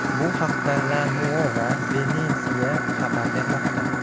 Bu haqda La Nuova Venezia xabar bermoqda .